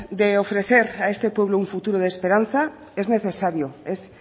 de ofrecer a este pueblo un futuro de esperanza es necesario es